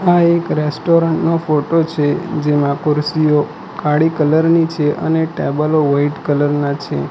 આ એક રેસ્ટોરન્ટ નો ફોટો છે જેમા કુરશીઓ કાળી કલર ની છે અને ટેબલો વાઈટ કલર ના છે.